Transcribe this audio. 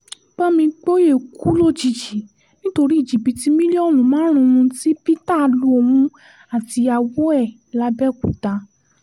bámgbòyé kú lójijì nítorí jìbìtì mílíọ̀nù márùn-ún tí peter lu òun àtìyàwó ẹ̀ làbẹ́òkúta